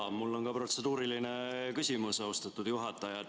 Jaa, mul on ka protseduuriline küsimus, austatud juhataja.